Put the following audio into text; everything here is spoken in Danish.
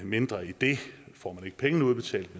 mindre end det får man ikke pengene udbetalt